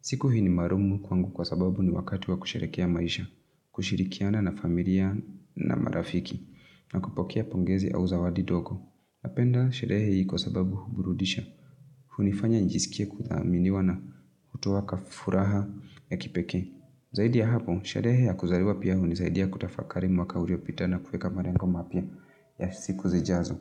Siku hii ni maalum kwangu kwa sababu ni wakati wa kusherekea maisha, kushirikiana na familia na marafiki, na kupokea pongezi au zawadi ndogo. Napenda sherehe hii kwa sababu huburudisha, hunifanya njisikie kuthaminiwa na hutoa ka furaha ya kipekee. Zaidi ya hapo, sherehe ya kuzaliwa piya hunisaidia ya kutafakari mwaka uliopita na kuweka malengo mapya ya siku zijazo.